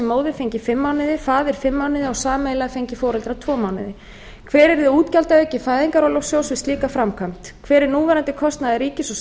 móðir fengi fimm mánuði faðir fimm mánuði og sameiginlega fengju foreldrar tvo mánuði annar hver yrði útgjaldaauki fæðingarorlofssjóðs við slíka framkvæmd þriðji hver er núverandi kostnaður ríkis og